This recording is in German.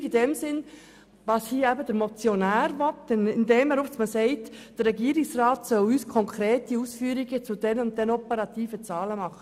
Namentlich eine Übersteuerung in dem Sinn, was hier eben der Motionär will, indem er sagt, der Regierungsrat solle uns konkrete Ausführungen zu diesen und jenen operativen Zahlen machen.